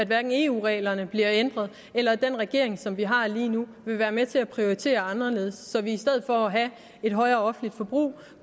hverken at eu reglerne bliver ændret eller at den regering som vi har lige nu vil være med til at prioritere anderledes så vi i stedet for at have et højere offentligt forbrug